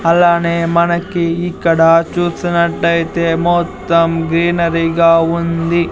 అలానే మనకి ఇక్కడ చూసినట్టయితే మొత్తం గ్రీనరీగా ఉంది.